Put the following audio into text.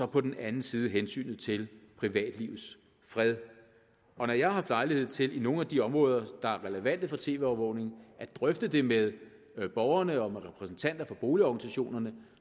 på den anden side hensynet til privatlivets fred når jeg har haft lejlighed til i nogle af de områder der er relevante for tv overvågning at drøfte det med borgerne og med repræsentanter for boligorganisationerne